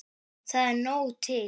Það er nóg til.